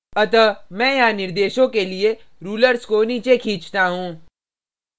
अतः मैं यहाँ निर्देशों के लिए rulers को नीचे खींचता हूँ